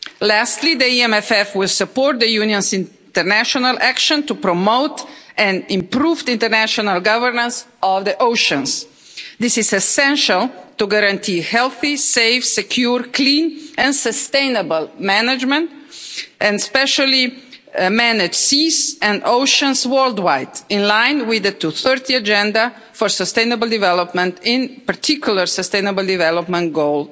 Lastly, the EMFF will support the Union's international action to promote and improve the international governance of the oceans. This is essential to guarantee healthy, safe, secure, clean and sustainable management and specially manage seas and oceans worldwide, in line with the 2030 agenda for sustainable development, in particular Sustainable Development Goal